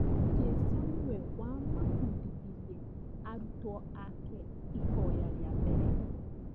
Jesũ nĩwe wamabundithirie arũtwo ake ihoya rĩa mbere